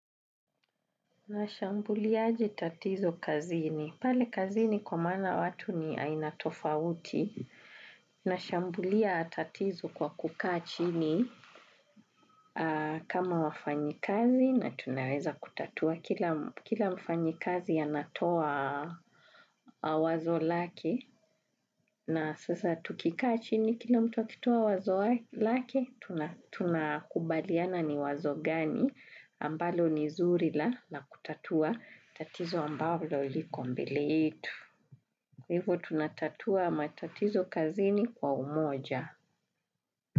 Nashambulia aje tatizo kazini. Pale kazini kwa mana watu ni aina tofauti. Nashambulia tatizo kwa kuka chini kama wafanyikazi na tunaweza kutatua. Kila mfanyikazi anatoa wazo lake na sasa tukikachini. Kila mtu akitoa wazo lake, tunakubaliana ni wazo gani. Ambalo ni zurila na kutatua tatizo ambalo liko mbele yetu. Hivo tunatatua matatizo kazini kwa umoja.